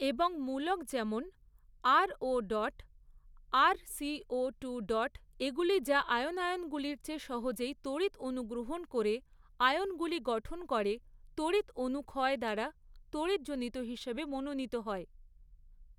এবং মূলক যেমন আরওডট আরসিওটুডট এগুলি যা আয়নায়নগুলির চেয়ে সহজেই তড়িৎ অণু গ্রহণ করে আয়নগুলি গঠন করে তড়িৎ অণু ক্ষয় দ্বারা তড়িৎজনিত হিসাবে মনোনীত হয়।